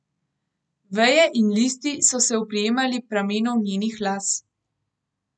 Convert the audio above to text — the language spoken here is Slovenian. Veje in listi so se oprijemali pramenov njenih las.